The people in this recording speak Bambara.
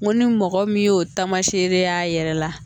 Ngo ni mɔgɔ min y'o tamasere y'a yɛrɛ la